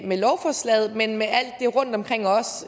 med lovforslaget men også med alt det rundtomkring